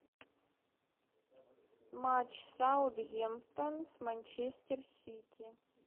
матч саутгемптон с манчестер сити